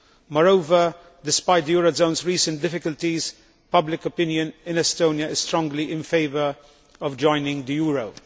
Moreover, despite the eurozone's recent difficulties, public opinion in Estonia is strongly in favour of joining the euro.